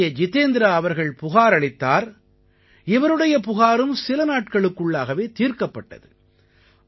இங்கே ஜிதேந்த்ரா அவர்கள் புகாரளித்தார் இவருடைய புகாரும் சில நாட்களுக்குள்ளாகவே தீர்க்கப்பட்டது